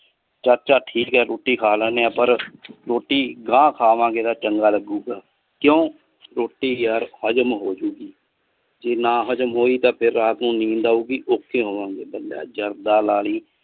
ਚਾਚਾ ਠੀਕ ਆ ਰੋਟੀ ਖਾ ਲੈਨੇ ਆ ਪਰ ਰੋਟੀ ਗਾਂ ਖਾਵਾਂ ਗੇ ਤਾਂ ਚੰਗਾ ਲੱਗੂਗਾ ਕਿਊ ਰੋਟੀ ਯਾਰ ਹਜਮ ਹੋਜੂਗੀ ਜੇ ਨਾ ਹਜਮ ਹੋਇ ਤਾਂ ਫਿਰ ਰਾਤ ਨੂੰ ਨੀਂਦ ਆਊਗੀ ਔਖੇ ਹੋਵਾਂਗੇ ਜਰਦਾ ਲਾਲੀ।